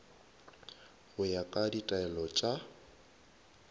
go ya ka ditaelo tša